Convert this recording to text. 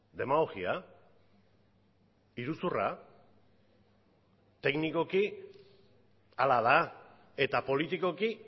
demagogia iruzurra teknikoki hala da eta politikoki